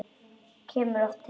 Kemur oft heim.